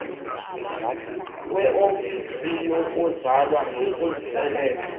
weofisi yokuzalwa nokusweleka